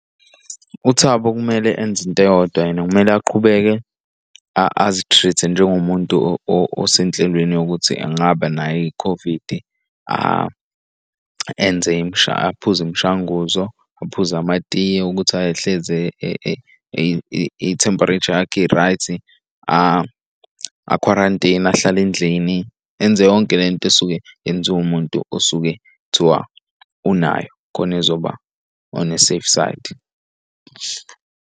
UThabo kumele enze into eyodwa yena. Kumele aqhubeke azi treat-e njengomuntu osenhlelweni yokuthi angaba nayo i-COVID. Enze aphuze imishanguzo, aphuze amatiye ukuthi ahlezi i-temperature yakhe i-right, akhwarantine, ahlale endlini, enze yonke lento osuke yenziwe umuntu osuke kuthiwa unayo khona ezoba on a safe side.